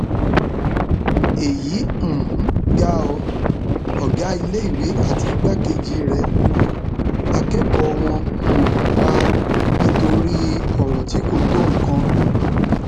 èyí um ga ọ ọgá iléèwé àti igbákejì ẹ lu akẹkọọ wọn um pa nítorí ọrọ tí kò tó nǹkan